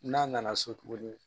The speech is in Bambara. N'a nana so tugun